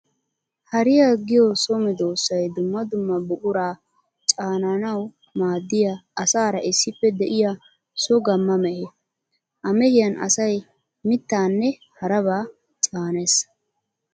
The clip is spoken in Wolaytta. Hariya giyo so medosay dumma dumma buqura caanannawu maadiya asaara issippe de'iya so gamma mehe. Ha mehiyan asay mittanne harabba caanees.